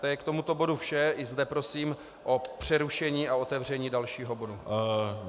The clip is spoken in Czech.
To je k tomuto bodu vše, i zde prosím o přerušení a otevření dalšího bodu.